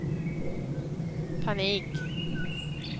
panik